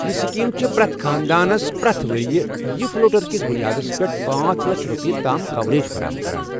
یہ سکیم چھ پرٮ۪تھ خاندانس پرٮ۪تھ ؤرۍ یہِ فلوٹر کِس بنیادَس پٮ۪ٹھ پانژھ لچھ روپے تام کوریج فراہم کران